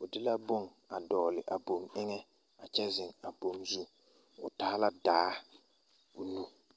o de la bone a dɔgle a boŋ eŋɛ a kyɛ zeŋ a boŋ zu o taa la daa o nu.